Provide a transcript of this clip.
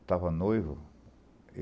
Estava noivo.